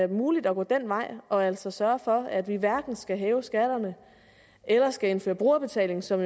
muligt at gå den vej og altså sørge for at vi hverken skal hæve skatterne eller skal indføre brugerbetaling som